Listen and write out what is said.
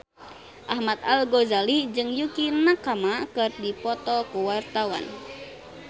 Ahmad Al-Ghazali jeung Yukie Nakama keur dipoto ku wartawan